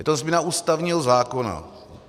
Je to změna ústavního zákona.